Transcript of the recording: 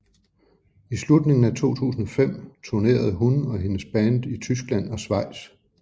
I slutningen af 2005 turnerede hun og hendes band i Tyskland og Schweiz